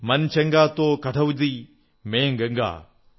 മൻ ചംഗാ തോ കഠൌതീ മേം ഗംഗാ